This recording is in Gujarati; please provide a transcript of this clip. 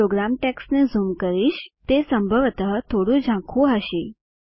હું પ્રોગ્રામ ટેક્સ્ટને ઝૂમ કરીશ તે સંભવતઃ થોડું ઝાંખુ હશે